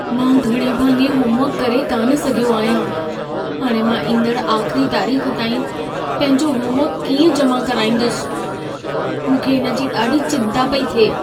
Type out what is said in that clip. मां घणे भाङे होमवर्कु करे कान सघियो आहियां। हाणे मां ईंदड़ु आख़िरी तारीख़ ताईं पंहिंजो होमवर्कु कीअं जमा कराईंदुसि। मूंखे इन जी ॾाढी चिंता पेई थिए!